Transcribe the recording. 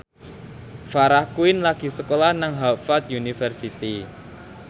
Farah Quinn lagi sekolah nang Harvard university